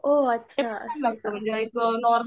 ओह अच्छा असं आहे का